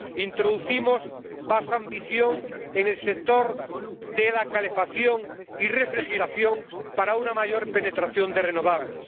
Introducimos más ambición en el sector de la calefacción y refrigeración para una mayor penetración de renovables.